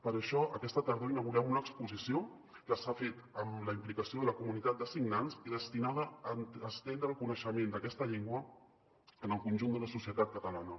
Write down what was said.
per això aquesta tardor inaugurem una exposició que s’ha fet amb la implicació de la comunitat de signants i destinada a estendre el coneixement d’aquesta llengua en el conjunt de la societat catalana